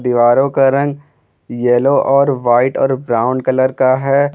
दीवारों का रंग येलो और व्हाइट और ब्राउन कलर का है।